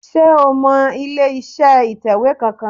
Sé o mọ ilé iṣẹ́ ìtẹ̀wé kan kan